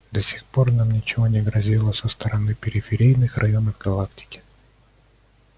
до сих пор нам ничто не грозило со стороны периферийных районов галактики